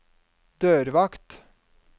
dørvakt